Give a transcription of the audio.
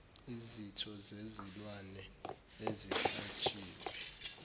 izitho zezilwane ezihlatshiwe